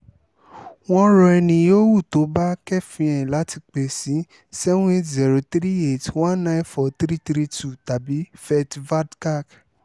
wọ́n rọ ẹniyòówù tó bá kẹ́ẹ́fín ẹ̀ láti pè sí seven eight zero three eight one nine four three three two tàbí fetvärdkák